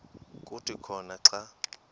kuthi khona xa